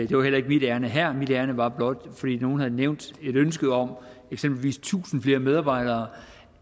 det var heller ikke mit ærinde her mit ærinde var blot fordi nogle havde nævnt et ønske om eksempelvis tusind flere medarbejdere